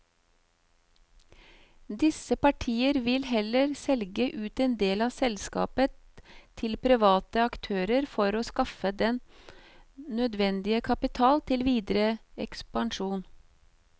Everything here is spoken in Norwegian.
Disse partier vil heller selge ut en del av selskapet til private aktører for å skaffe den nødvendige kapital til videre ekspansjon.